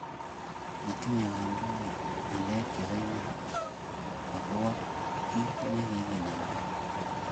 matinye kindonik ngalek che bo iman ako kobo kito nekikinamda